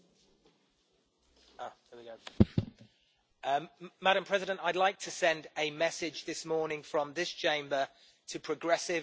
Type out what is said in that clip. Madam President, I would like to send a message this morning from this Chamber to progressive politicians and progressive people in the United Kingdom.